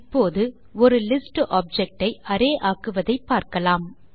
இப்போது ஒரு list object ஐ அரே ஆக்குவதை பார்க்கலாம்